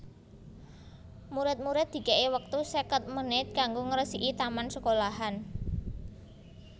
Murid murid dikei wektu seket menit kanggo ngresiki taman sekolahan